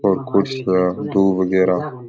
और कुर्सियां दुब बगेरा --